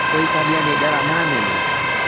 Kũhikania nĩ ngarama nene?